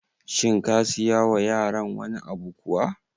Shin ka siya wa yaran wani abu kuwa?